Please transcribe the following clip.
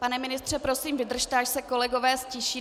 Pane ministře, prosím vydržte, až se kolegové ztiší.